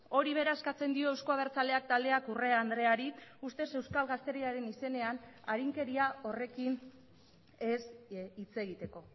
hori bera eskatzen dio euzko abertzaleak taldeak urrea andreari ustez euskal gazteriaren izenean arinkeria horrekin ez hitz egiteko